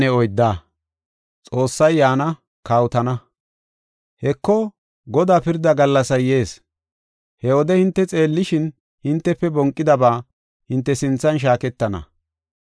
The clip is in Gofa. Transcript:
Heko, Godaa pirda gallasay yees; he wode hinte xeellishin, hintefe bonqidaba hinte sinthan shaaketana.